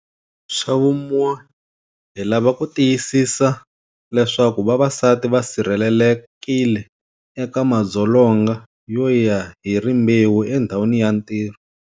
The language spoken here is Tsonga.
Xa vumune, hi lava ku tiyisisa leswaku vavasati va sirhelelekile eka madzolonga yo ya hi rimbewu endhawini ya ntirho.